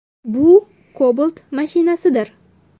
Bu Cobalt mashinasidir.